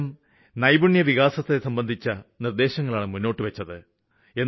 അദ്ദേഹം നൈപുണി വികാസത്തെസംബന്ധിച്ച നിര്ദ്ദേശങ്ങളാണ് മുന്നോട്ട് വച്ചത്